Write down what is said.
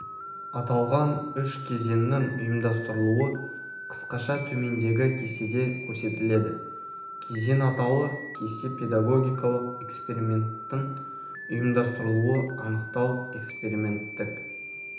аталған үш кезеңнің ұйымдастырылуы қысқаша төмендегі кестеде көрсетіледі кезең атауы кесте педагогикалық эксперименттің ұйымдастырылуы анықтау эксперименттік